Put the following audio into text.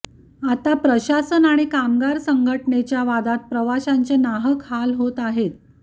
आता प्रशासन आणि कामगार संघटनेच्या वादात प्रवाशांचे नाहक हाल होत आहेत